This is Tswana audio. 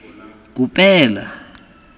kopela